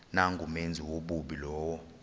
nangumenzi wobubi lowo